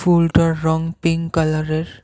ফুলটার রং পিঙ্ক কালারের।